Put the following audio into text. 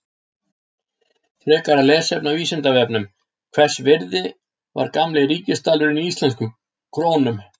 Frekara lesefni á Vísindavefnum: Hvers virði var gamli ríkisdalurinn í íslenskum krónum?